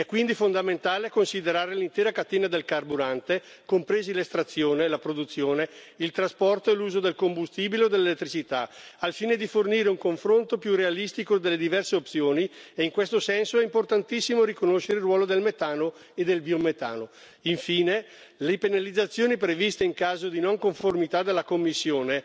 È quindi fondamentale considerare l'intera catena del carburante, compresi l'estrazione e la produzione, il trasporto e l'uso del combustibile o dell'elettricità, al fine di fornire un confronto più realistico delle diverse opzioni e in questo senso è importantissimo riconoscere il ruolo del metano e del biometano. Infine, le penalizzazioni previste in caso di non conformità dalla Commissione